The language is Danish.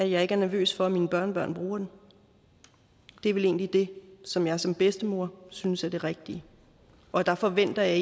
jeg ikke er nervøs for at mine børnebørn bruger den det er vel egentlig det som jeg som bedstemor synes er det rigtige og der forventer jeg